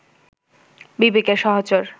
বিবেকের সহচর